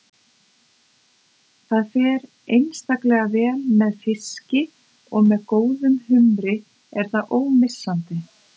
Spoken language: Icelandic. Það fer einstaklega vel með fiski og með góðum humri er það ómissandi.